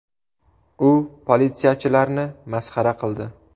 U politsiyachilarni masxara qildi.